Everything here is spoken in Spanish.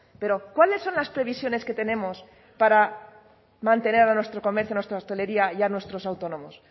pero cuáles son las previsiones que tenemos para mantener a nuestro comercio a nuestra hostelería y a nuestros autónomos